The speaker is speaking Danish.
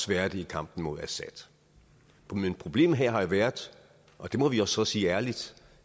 være det i kampen mod assad men problemet her har jo været og det må vi så sige ærligt